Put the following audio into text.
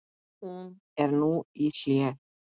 Hún er nú í hléi.